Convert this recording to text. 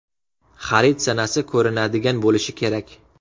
Xarid sanasi ko‘rinadigan bo‘lishi kerak.